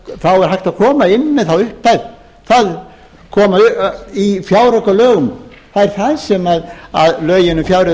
er hægt að koma inn með þá upphæð í fjáraukalögum það er það sem lögin um fjárreiður